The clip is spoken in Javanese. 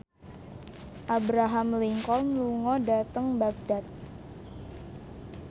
Abraham Lincoln lunga dhateng Baghdad